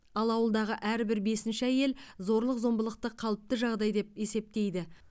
ал ауылдағы әрбір бесінші әйел зорлық зомбылықты қалыпты жағдай деп есептейді